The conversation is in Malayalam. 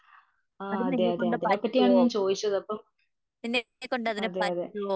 ആ അതെയതേ അതിനെ പറ്റിയാണ് ഞാൻ ചോദിച്ചത് അപ്പം . അതെയതെ